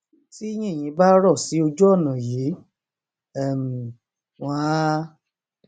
tí yìnyín bá rọ sí ojú ọnà yìí um wọn á